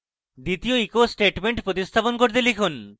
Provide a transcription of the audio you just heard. এবং দ্বিতীয় echo statement প্রতিস্থাপন করে লিখুন: